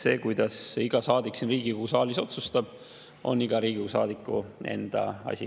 See, kuidas iga saadik siin Riigikogu saalis otsustab, on iga saadiku enda asi.